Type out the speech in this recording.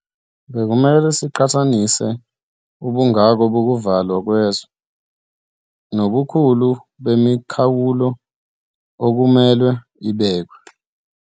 Bekumele siqhathanise ubungako bokuvalwa kwezwe nobukhulu bemikhawulo okuzomelwe ibekwe.